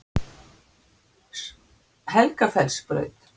Helgafellsbraut